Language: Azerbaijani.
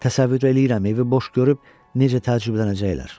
Təsəvvür eləyirəm evi boş görüb necə təəccüblənəcəklər.